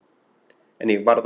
En ég varð að segja eitthvað.